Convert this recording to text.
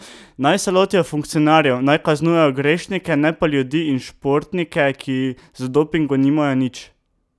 Naj se lotijo funkcionarjev, naj kaznujejo grešnike, ne pa ljudi in športnike, ki z dopingom nimajo nič.